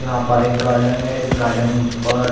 यहाँ पर एक गार्डन है इस गार्डन पर --